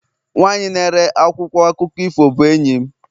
nwanyị na-ere akwụkwọ akụkọ ifo bụ enyi m